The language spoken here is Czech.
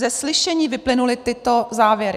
Ze slyšení vyplynuly tyto závěry: